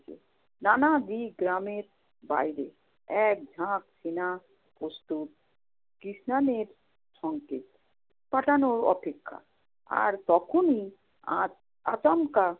নানাবিল গ্রামের বাইরে এক ঝাঁক সেনা প্রস্তুত। কৃষ্ণানের সঙ্কেত পাঠানোর অপেক্ষা, আর তখনি আচ~ আচমকা